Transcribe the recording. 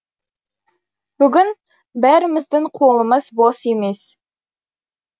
бүгін бәріміздің қолымыз бос емес